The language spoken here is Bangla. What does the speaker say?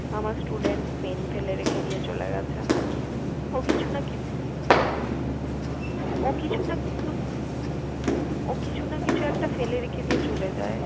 আমার student pen ফেলে রেখে দিয়ে চলে গেছে ও কিছু না কিছু, ও কিছু না কিছু ও কিছু না কিছু একটা ফেলে রেখে দিয়ে চলে যায়l